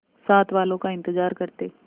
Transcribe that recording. साथ वालों का इंतजार करते